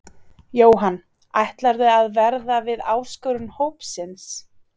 Jóhann: Ætlarðu að verða við áskorun hópsins?